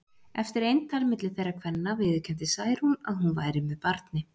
Eftir eintal milli þeirra kvenna viðurkenndi Særún að hún væri með barni.